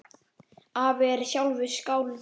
Afi er sjálfur skáld.